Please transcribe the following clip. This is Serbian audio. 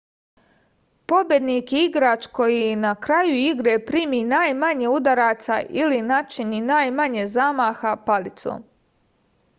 pobednik je igrač koji na kraju igre primi najmanje udaraca ili načini najmanje zamaha palicom